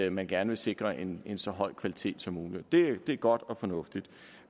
at man gerne vil sikre en så høj kvalitet som muligt det er godt og fornuftigt